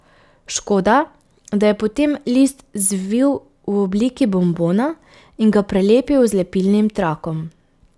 Škoda, da je potem list zvil v obliki bombona in ga prelepil z lepilnim trakom.